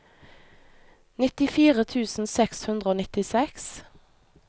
nittifire tusen seks hundre og nittiseks